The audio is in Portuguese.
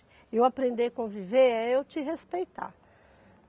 E o aprender conviver é eu te respeitar.